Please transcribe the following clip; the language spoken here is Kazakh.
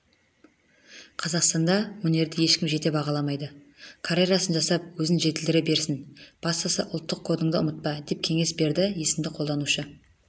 қазақстанда өнерді ешкім жете бағаламайды карьерасын жасап өзін жетілдіре берсін бастысы ұлттық кодыңды ұмытпа деп кеңес берді есімді қолданушы